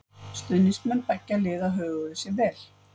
Stuðningsmenn beggja liða höguðu sér vel.